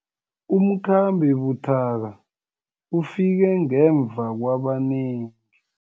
Umkhambi buthaka ufike ngemva kwabanengi.